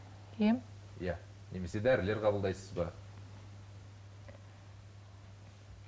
ем иә немесе дәрілер қабылдайсыз ба